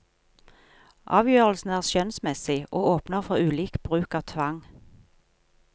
Avgjørelsen er skjønnsmessig, og åpner for ulik bruk av tvang.